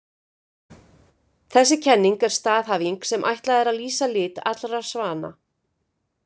Þessi kenning er staðhæfing sem ætlað er að lýsa lit allra svana.